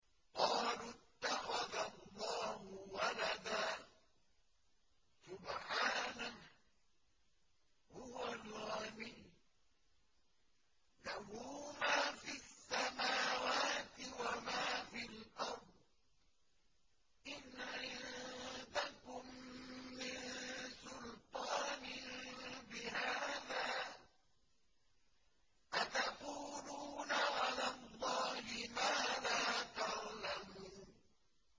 قَالُوا اتَّخَذَ اللَّهُ وَلَدًا ۗ سُبْحَانَهُ ۖ هُوَ الْغَنِيُّ ۖ لَهُ مَا فِي السَّمَاوَاتِ وَمَا فِي الْأَرْضِ ۚ إِنْ عِندَكُم مِّن سُلْطَانٍ بِهَٰذَا ۚ أَتَقُولُونَ عَلَى اللَّهِ مَا لَا تَعْلَمُونَ